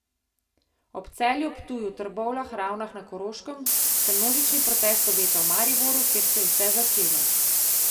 Ob Celju, Ptuju, Trbovljah, Ravnah na Koroškem se množični protest obeta v Mariboru, kjer se je vse začelo.